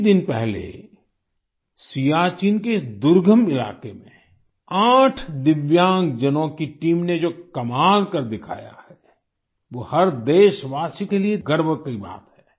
कुछ ही दिन पहले सियाचिन के इस दुर्गम इलाके में 8 दिव्यांग जनों की टीम ने जो कमाल कर दिखाया है वो हर देशवासी के लिए गर्व की बात है